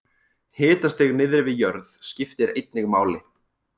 Hitastig niðri við jörð skiptir einnig máli.